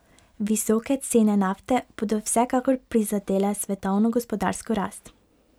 Visoke cene nafte bodo vsekakor prizadele svetovno gospodarsko rast.